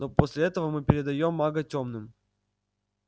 но после этого мы передаём мага тёмным